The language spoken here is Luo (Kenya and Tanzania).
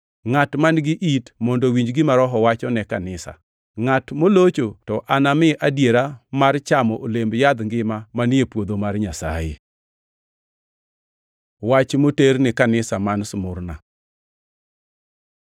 Ngʼat man-gi it mondo owinj gima Roho wacho ne kanisa. Ngʼat molocho to anami adiera mar chamo olemb yadh ngima manie puotho mar Nyasaye. Wach moter ne kanisa man Smurna